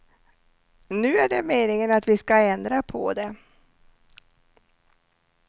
Nu är det meningen att vi skall ändra på det.